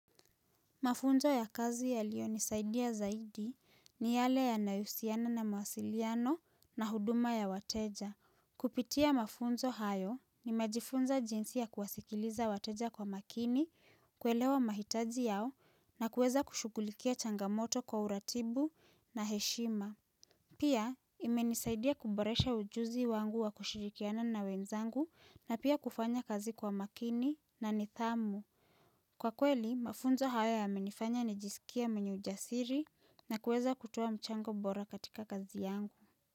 Mafunzo ya kazi yalio nisaidia zaidi ni yale yanahusiana na mawasiliano na huduma ya wateja. Kupitia mafunzo hayo nimejifunza jinsi ya kuwasikiliza wateja kwa makini, kuelewa mahitaji yao na kueza kushukulikia changamoto kwa uratibu na heshima. Pia, imenisaidia kuboresha ujuzi wangu wa kushirikiana na wenzangu na pia kufanya kazi kwa makini na nidhamu. Kwa kweli, mafunzo haya yamenifanya ni jisikia menyujasiri na kuweza kutuwa mchango bora katika kazi yangu.